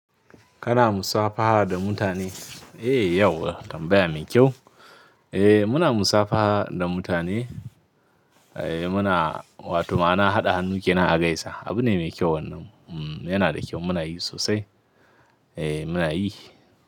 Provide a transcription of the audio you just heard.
Kana musafaha da mutane? Eh yauwa tambaya mai kyau. Eh muna musafaha da mutane. Eh muna, wato ma'ana haɗa hannu kenan a gaisa. Abu ne mai kyau wannan. Yana da kyau muna yi sosai. Eh muna yi.